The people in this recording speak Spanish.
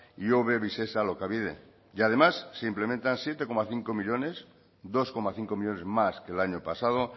ihobe visesa alokabide y además se implementan siete coma cinco millónes dos coma cinco millónes más que el año pasado